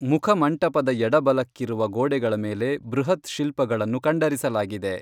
ಮುಖಮಂಟಪದ ಎಡಬಲಕ್ಕಿರುವ ಗೋಡೆಗಳ ಮೇಲೆ ಬೃಹತ್‌ಶಿಲ್ಪಗಳನ್ನು ಕಂಡರಿಸಲಾಗಿದೆ.